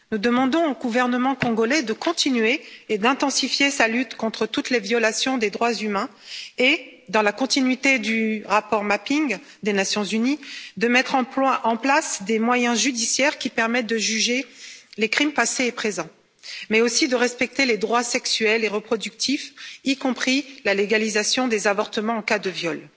Nous demandons au gouvernement congolais de continuer et d'intensifier sa lutte contre toutes les violations des droits humains et, dans la continuité du rapport Mapping des Nations unies, de mettre en place des moyens judiciaires qui permettent de juger les crimes passés et présents, mais aussi de respecter les droits sexuels et reproductifs, y compris la légalisation de l'avortement en cas de viol.